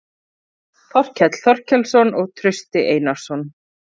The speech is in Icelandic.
Þorkell Þorkelsson og Trausti Einarsson.